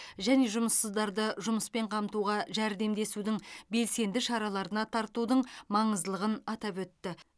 және жұмыссыздарды жұмыспен қамтуға жәрдемдесудің белсенді шараларына тартудың маңыздылығын атап өтті